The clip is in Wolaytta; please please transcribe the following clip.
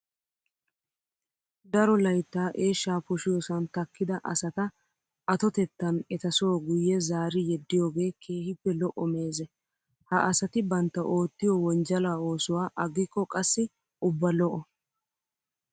Daro layittaa eeshshaa poshiyoosan takkida asata atotettan etaso guyye zaari yeddiyoogee keehippe lo''o meeze. Ha asati bantta oottiyoo wonjjala oosuwaa aggikko qassi ubba lo''oo.